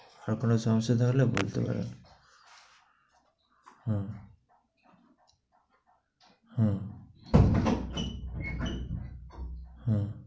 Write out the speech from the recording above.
তারপরে সমস্যাটা হলে বলতে পারো। হু, হু হু।